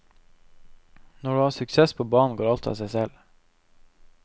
Når du har suksess på banen går alt av seg selv.